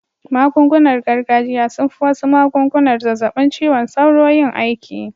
Magungunar gargajiya sun fi wasu magungunar zazzabin ciwon sauro yin aiki